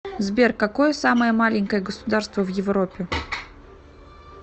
сбер какое самое маленькое государство в европе